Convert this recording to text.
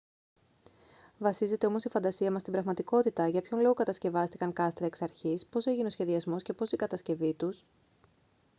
βασίζεται όμως η φαντασία μας στην πραγματικότητα για ποιον λόγο κατασκευάστηκαν κάστρα εξ αρχής πώς έγινε ο σχεδιασμός και πώς η κατασκευή τους